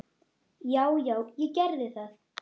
Já, já, ég gerði það.